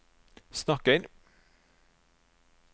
snakker